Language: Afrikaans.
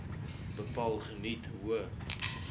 bepaal geniet hoë